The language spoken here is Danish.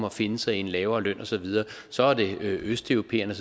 og finde sig i en lavere løn og så videre så er det østeuropæerne